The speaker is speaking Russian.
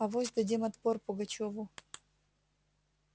авось дадим отпор пугачёву